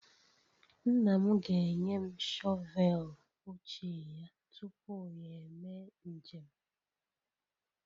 Nna m ga-enye m shọvel ochie ya tupu ya eme njem